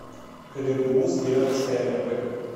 кгбуз березовская рб